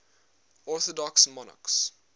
orthodox monarchs